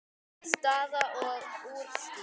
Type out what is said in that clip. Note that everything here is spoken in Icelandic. Staða og úrslit.